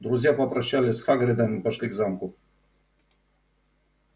друзья попрощались с хагридом и пошли к замку